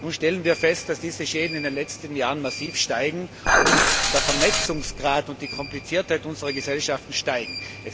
Nun stellen wir fest, dass diese Schäden in den letzten Jahren massiv steigen und der Vernetzungsgrad und die Kompliziertheit unserer Gesellschaften steigen.